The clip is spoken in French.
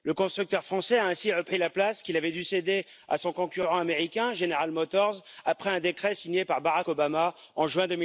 Le constructeur français a ainsi repris la place qu'il avait dû céder à son concurrent américain General Motors après un décret signé par Barack Obama en juin